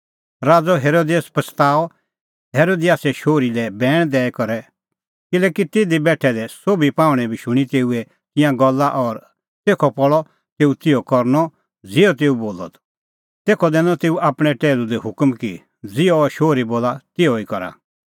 राज़अ हेरोदेस पछ़ताअ हेरोदियासे शोहरी लै बैण दैई करै किल्हैकि तिधी बेठै दै सोभी पाहुंणैं बी शूणीं तेऊए तिंयां गल्ला और तेखअ पल़अ तेऊ तिहअ करनअ ज़िहअ तेऊ बोलअ त तेखअ दैनअ तेऊ आपणैं टैहलू लै हुकम कि ज़िहअ अह शोहरी बोला तिहअ ई करा